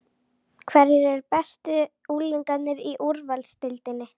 Hverjir eru bestu unglingarnir í úrvalsdeildinni?